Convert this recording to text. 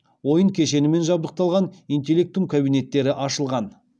ойын кешенімен жабдықталған интеллектум кабинеттері ашылған